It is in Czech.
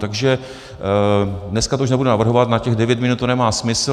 Takže dneska to už nebudu navrhovat, na těch devět minut to nemá smysl.